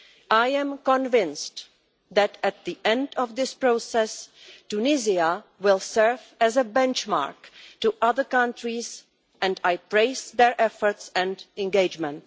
I am convinced that, at the end of this process, Tunisia will serve as a benchmark for other countries and I praise its efforts and engagement.